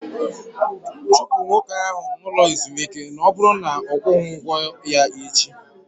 Chụpụ nwoke ahụ n'ụlọ ezumike na ọ bụrụ na ọ kwughi ụgwọ ya echi!